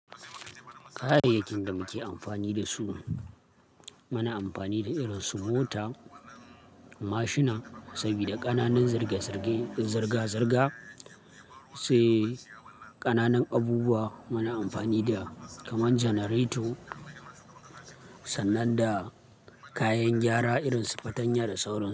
Kayayyakin da muke amfani da su, muna amfani da irin su mota, mashina saboda ƙananan zarge-zarge zirga-zirga, sai ƙananan abubuwa muna amfani da kamar janareto sannan da kayan gyara irin su fatanya da sauransu.